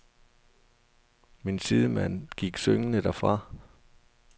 Min sidemand gik syngende derfra.